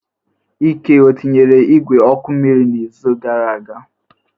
Ike etinyere igwe oku mmiri n'izu gara aga?